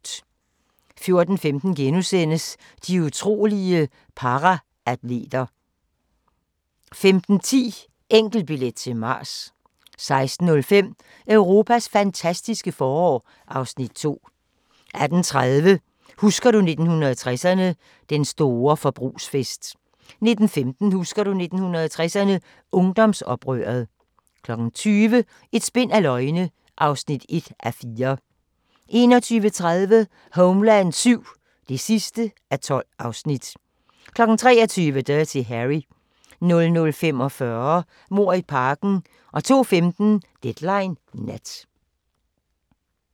14:15: De utrolige paraatleter * 15:10: Enkeltbillet til Mars 16:05: Europas fantastiske forår (Afs. 2) 18:30: Husker du 1960'erne – Den store forbrugsfest 19:15: Husker du 1960'erne – Ungdomsoprøret 20:00: Et spind af løgne (1:4) 21:30: Homeland VII (12:12) 23:00: Dirty Harry 00:45: Mord i parken 02:15: Deadline Nat